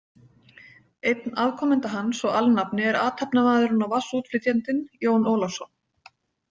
Einn afkomenda hans og alnafni er athafnamaðurinn og vatnsútflytjandinn, Jón Ólafsson.